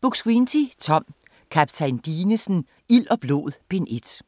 Buk-Swienty, Tom: Kaptajn Dinesen: Ild og blod: Bind 1